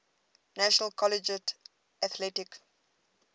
national collegiate athletic